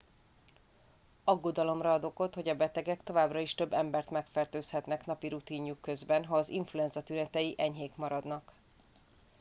aggodalomra ad okot hogy a betegek továbbra is több embert megfertőzhetnek napi rutinjuk közben ha az influenza tünetei enyhék maradnak